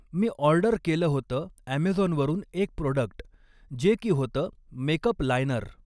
मी order केलं होतं अॅमॅझॉनवरून एक प्रोडक्ट जे की होतं मेकप लायनर